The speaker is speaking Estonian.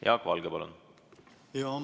Jaak Valge, palun!